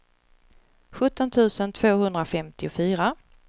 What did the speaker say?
sjutton tusen tvåhundrafemtiofyra